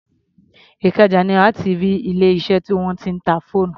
Ìkẹjà ni wà á ti rí ilé-iṣẹ́ tí wọ́n ń ta fóònù.